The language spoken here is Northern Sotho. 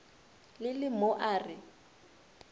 le le mo a re